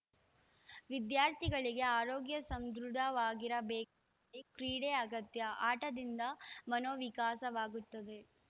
ವಿದ್ಯಾರ್ಥಿಗಳಿಗೆ ಆರೋಗ್ಯ ಸದೃಢವಾಗಿರಬೇಕಾ ಕ್ರೀಡೆ ಅಗತ್ಯ ಆಟದಿಂದ ಮನೋವಿಕಾಸವಾಗುತ್ತದೆ